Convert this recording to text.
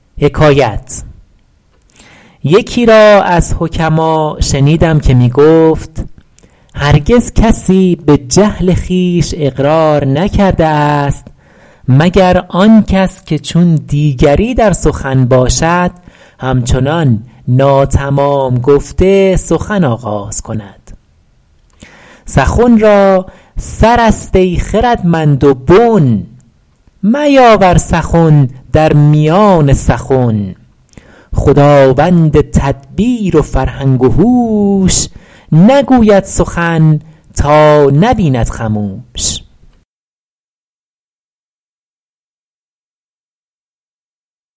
یکی را از حکما شنیدم که می گفت هرگز کسی به جهل خویش اقرار نکرده است مگر آن کس که چون دیگری در سخن باشد هم چنان ناتمام گفته سخن آغاز کند سخن را سر است ای خردمند و بن میاور سخن در میان سخن خداوند تدبیر و فرهنگ و هوش نگوید سخن تا نبیند خموش